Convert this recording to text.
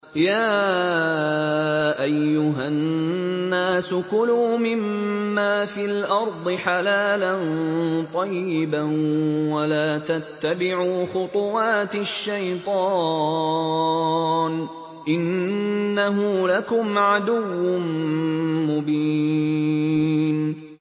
يَا أَيُّهَا النَّاسُ كُلُوا مِمَّا فِي الْأَرْضِ حَلَالًا طَيِّبًا وَلَا تَتَّبِعُوا خُطُوَاتِ الشَّيْطَانِ ۚ إِنَّهُ لَكُمْ عَدُوٌّ مُّبِينٌ